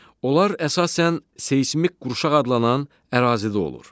Onlar əsasən seysmik qurşaq adlanan ərazidə olur.